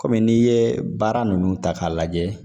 Kɔmi n'i ye baara ninnu ta k'a lajɛ